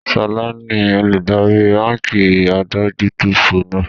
ṣọlá ni olùdarí báńkì adójútòfò náà.